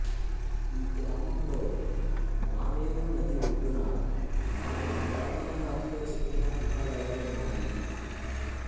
ఈ గ్రామంలో మానేరు నది ఒడ్డున నాలుగు పురాతన రాతిలో చెక్కిన గుహాలయాలున్నాయి